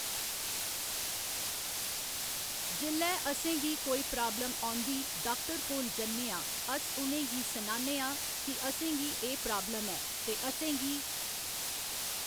जेल्लै असेंगी कोई प्राबल्म औंदी डाक्टर कोल जन्नेआं अस उनेंगी सनान्ने आं कि असेंगी एह् प्राबल्म ऐ ते असेंगी